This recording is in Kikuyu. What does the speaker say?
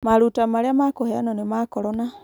Maruta marĩa makũheanwo nĩ ma korona